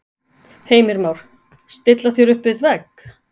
Heimir Már: Stilla þér upp við vegg?